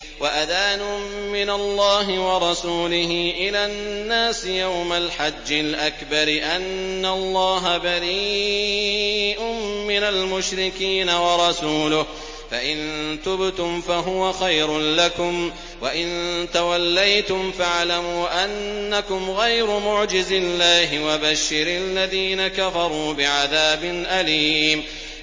وَأَذَانٌ مِّنَ اللَّهِ وَرَسُولِهِ إِلَى النَّاسِ يَوْمَ الْحَجِّ الْأَكْبَرِ أَنَّ اللَّهَ بَرِيءٌ مِّنَ الْمُشْرِكِينَ ۙ وَرَسُولُهُ ۚ فَإِن تُبْتُمْ فَهُوَ خَيْرٌ لَّكُمْ ۖ وَإِن تَوَلَّيْتُمْ فَاعْلَمُوا أَنَّكُمْ غَيْرُ مُعْجِزِي اللَّهِ ۗ وَبَشِّرِ الَّذِينَ كَفَرُوا بِعَذَابٍ أَلِيمٍ